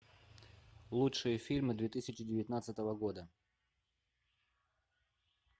лучшие фильмы две тысячи девятнадцатого года